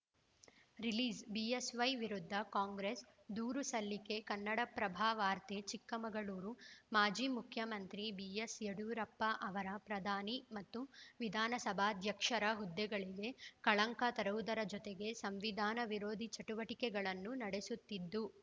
release BSY ವಿರುದ್ಧ ಕಾಂಗ್ರೆಸ್‌ ದೂರು ಸಲ್ಲಿಕೆ ಕನ್ನಡಪ್ರಭವಾರ್ತೆ ಚಿಕ್ಕಮಗಳೂರು ಮಾಜಿ ಮುಖ್ಯಮಂತ್ರಿ ಬಿಎಸ್‌ ಯಡಿಯೂರಪ್ಪ ಅವರ ಪ್ರಧಾನಿ ಮತ್ತು ವಿಧಾನಸಭಾಧ್ಯಕ್ಷರ ಹುದ್ದೆಗಳಿಗೆ ಕಳಂಕ ತರುವುದರ ಜೊತೆಗೆ ಸಂವಿಧಾನ ವಿರೋಧಿ ಚಟುವಟಿಕೆಗಳನ್ನು ನಡೆಸುತ್ತಿದ್ದು